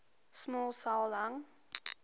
small cell lung